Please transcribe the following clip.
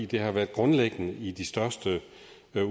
det har været grundlæggende i de største